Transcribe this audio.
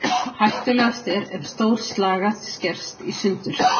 Hættulegast er ef stór slagæð skerst í sundur.